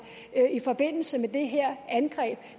i forbindelse med det her angreb